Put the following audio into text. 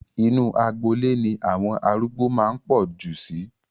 Inu agboolé ni àwọn arúgbó máa ń pọ̀ jù sí